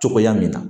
Cogoya min na